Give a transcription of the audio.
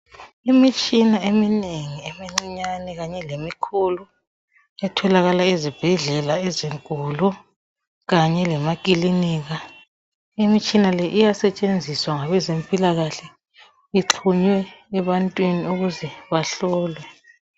Imitshina eminengi emincinyane kanye lemikhulu etholakala ezibhedlela ezinkulu kanye lemaklinika .Imitshina le iyasetshenziswa ngabezempilakahle ixhunywe ebantwini ukuze bahlolwe